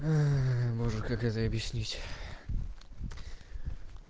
может как это объяснить